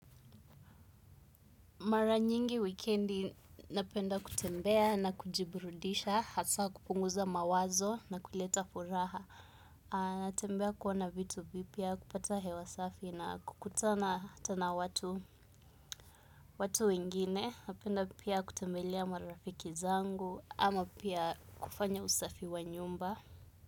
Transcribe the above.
Mara nyingi wikendi napenda kutembea na kujiburudisha, hasaa kupunguza mawazo na kuleta furaha. Natembea kuona vitu vipya, kupata hewa safi na kukutana hata na watu, watu wengine. Napenda pia kutembelea marafiki zangu ama pia kufanya usafi wa nyumba.